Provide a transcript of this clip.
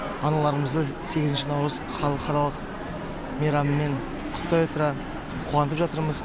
аналарымызды сегізінші наурыз халықаралық мейрамымен құттықтай отыра қуантып жатырмыз